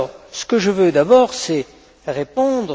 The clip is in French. Ce que je veux d'abord, c'est répondre.